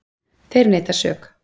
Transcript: Þeir neita sök.